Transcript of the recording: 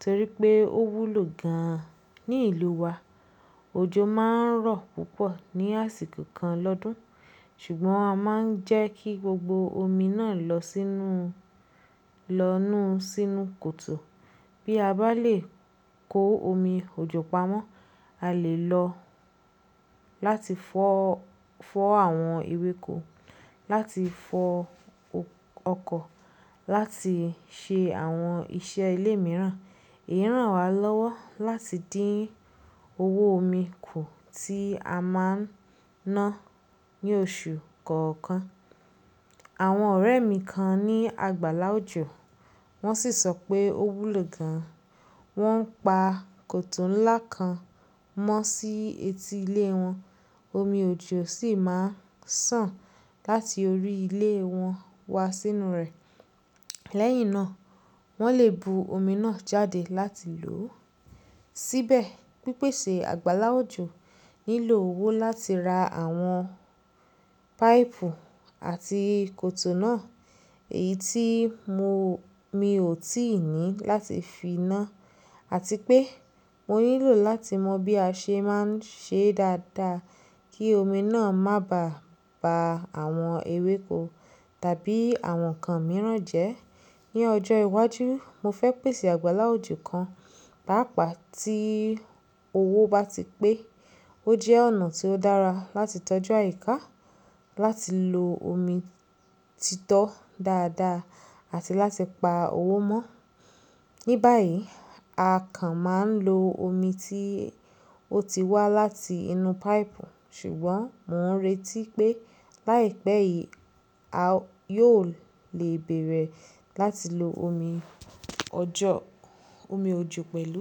torí pé ó wúlò gan-an ní ìlú wa. Òjò máa ń rọ̀ púpọ̀ ní àsìkò kan lọ́dún ṣùgbọ́n a máa ń jẹ́ kí gbogbo omi náà lọ sínú, lọ nù sínú kòtò. Bí a bá lè kó omi òjò pamọ́, a lè lò ó láti fọ́, fọ́ àwọn ewéko, láti fọ ọkọ̀, láti ṣe àwọn iṣẹ́ ilé mìíràn. Èyí ran wa lọ́wọ́ láti dín owó omi kù tí a máa ń ná ní oṣù kọ̀ọ̀kan. Àwọn ọ̀rẹ́ mi kan ní àgbàlá òjò wọ́n sì sọ pé ó wúlò gan. Wọ́n pa kòtò ńlá kan mọ́ sí etí ilé wọn. Omi òjò sì máa ń sàn láti orí ilé wọn wá sínú rẹ̀. Lẹ́yìn náà wọ́n lè bu omi náà jáde láti lò ó. Síbẹ̀ pípèsè àgbàlá òjò nílò owó láti ra àwọn páìpù àti kòtò náà èyí tí mo, mi ò tíì ní láti fi ná àti pé mo nílò láti mọ bí a ṣe máa ń ṣe dáadáa kí omi náà má bàá ba àwọn ewéko tàbí àwọn ǹkan mìíràn jẹ́. Ni ọjọ́ iwájú mo fẹ́ pèsè àgbàlá òjò kan pápa tí owó bá ti pé. Ó jẹ́ ọ̀nà tí ó dára láti tọ́jú àyíká, láti lo omi titọ́ dáadáa àti láti pa owó mọ́. Ni báyìí, a kan máa ń lo omi tí ó ti wá láti inú páìpù ṣùgbọ́n mò ń retí pé láìpẹ́ yìí a yóò lè bẹ̀rẹ̀ láti lo omi ọjọ́, omi òjò pẹ̀lú.